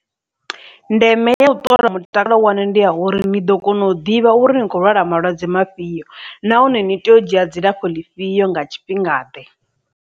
Ndeme ya u ṱola mutakalo waṋu ndi ya uri ni ḓo kona u ḓivha uri ni khou lwala malwadze mafhio, nahone ni tea u dzhia dzilafho ḽifhio nga tshifhinga ḓe.